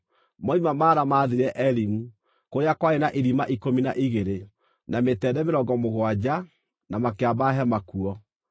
Moima Mara maathiire Elimu, kũrĩa kwarĩ na ithima ikũmi na igĩrĩ, na mĩtende mĩrongo mũgwanja, na makĩamba hema kuo.